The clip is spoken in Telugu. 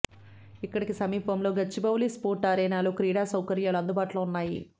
ఇక్కడికి సమీపంలోని గచ్చిబౌలి స్పోర్ట్ అరేనాలో క్రీడా సౌకర్యాలు అందుబాటులో ఉన్నాయి